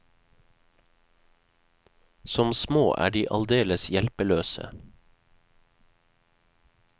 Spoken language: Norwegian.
Som små er de aldeles hjelpeløse.